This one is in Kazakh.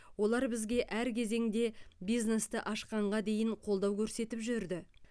олар бізге әр кезеңде бизнесті ашқанға дейін қолдау көрсетіп жүрді